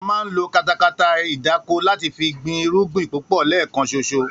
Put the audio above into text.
A máa ń lo katakata ìdáko láti fi gbin irúgbìn púpò̩ lé̩è̩kan s̩os̩o